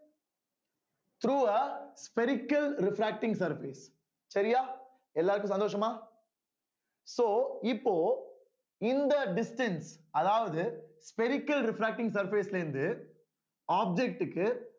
through ஆ spherical refracting surface சரியா எல்லாருக்கும் சந்தோஷமா so இப்போ இந்த distance அதாவது spherical refracting surface ல இருந்து object க்கு